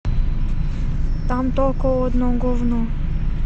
там только одно говно